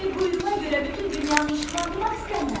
Bir quyruğa görə bütün dünyanı işıqlandırmaq istəmirəm.